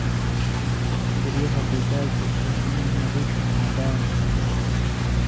Guryaha digaaggu waa inay nadiif ahaadaan.